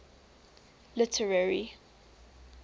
literary